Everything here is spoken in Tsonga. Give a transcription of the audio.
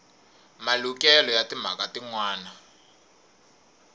malukelo ya timhaka tin wana